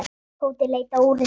Tóti leit á úrið sitt.